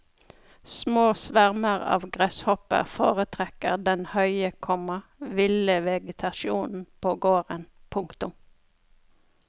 Små svermer av gresshopper foretrekker den høye, komma ville vegetasjonen på gården. punktum